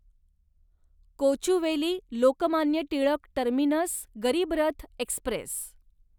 Kochuveli Lokmanya Tilak terminus Garib Rath Express